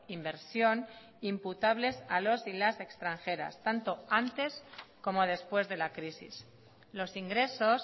inversión imputables a los y las extranjeras tanto antes como después de la crisis los ingresos